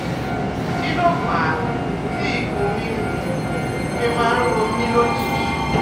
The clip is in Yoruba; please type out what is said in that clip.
Kí ló fà á tí ikùn mi um fi máa ń ro mí lójijì?